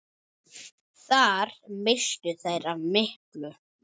Þar misstu þeir af miklu.